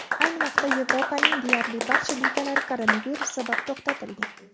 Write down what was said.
Ayni vaqtda Yevropaning deyarli barcha ligalari koronavirus sabab to‘xtatilgan.